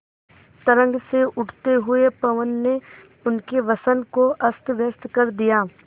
तरंग से उठते हुए पवन ने उनके वसन को अस्तव्यस्त कर दिया